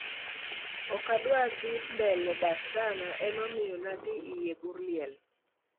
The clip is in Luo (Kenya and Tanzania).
okadwadhii mbele dak sana, emomiyo nadhii eiy bur liel.